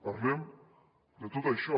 parlem de tot això